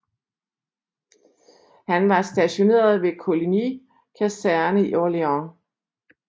Han var stationeret ved Coligny kaserne i Orléans